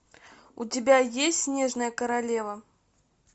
у тебя есть снежная королева